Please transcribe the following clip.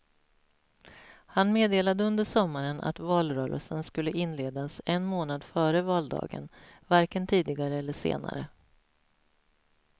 Han meddelade under sommaren att valrörelsen skulle inledas en månad före valdagen, varken tidigare eller senare.